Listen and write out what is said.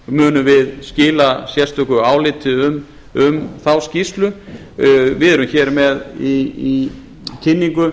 munum við skila sérstöku áliti um þá skýrslu við erum hér með í kynningu